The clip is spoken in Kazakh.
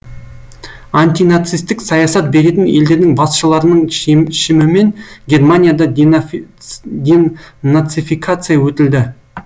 антинацистік саясат беретін елдердің басшыларының шешімімен германияда денацификация өтілді